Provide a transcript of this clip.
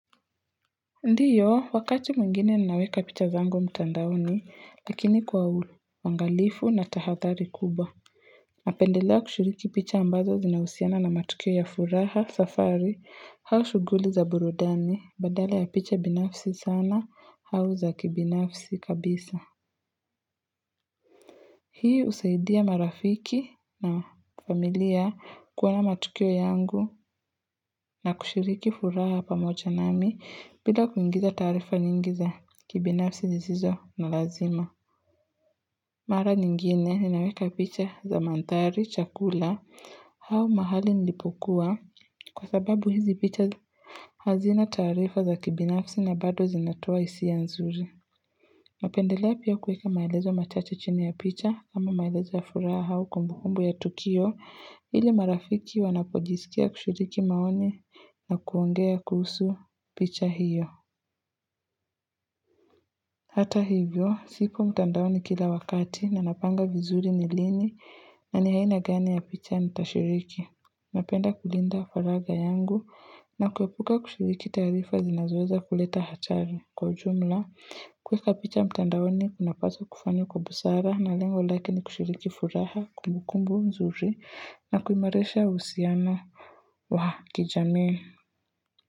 Ndiyo wakati mwingine ninaweka picha zangu mtandaoni lakini kwa uangalifu na tahadhari kubwa napendelea kushiriki picha ambazo zinahusiana na matukio ya furaha safari au shughuli za burudani badala ya picha binafsi sana au za kibinafsi kabisa Hii husaidia marafiki na familia kuona matukio yangu na kushiriki furaha pamoja nami bila kuingiza taarifa nyingi za kibinafsi zizo na lazima. Mara nyingine, ninaweka picha za mandhari, chakula, au mahali nilipokuwa kwa sababu hizi picha hazina taarifa za kibinafsi na bado zinatoa hisia nzuri. Napendelea pia kuweka maelezo machache chini ya picha ama maelezo ya furaha au kumbukumbu ya tukio ili marafiki wanapojisikia kushiriki maoni na kuongea kuhusu picha hiyo. Hata hivyo, sipo mtandaoni kila wakati na napanga vizuri ni lini na ni haina gani ya picha nitashiriki. Napenda kulinda faragha yangu na kueapuka kushiriki taarifa zinazoweza kuleta hatari. Kwa ujumla, kuweka picha mtandaoni kunapaswa kufanywa kwa busara na lengo lake ni kushiriki furaha kumbukumbu nzuri na kuimarisha uhusiano wa kijamii.